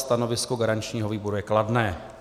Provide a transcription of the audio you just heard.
Stanovisko garančního výboru je kladné.